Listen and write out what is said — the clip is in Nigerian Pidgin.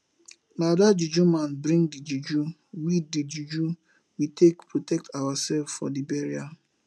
na dat juju man bring the juju we the juju we take protect ourselves for the burial